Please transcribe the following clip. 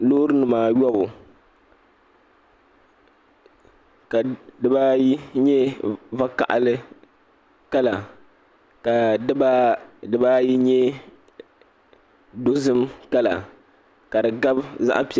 Loori nima ayɔbu ka dibaayi nyɛ vakahali kala ka dibaayi nyɛ dozim kala ka di gabi zaɣa piɛli.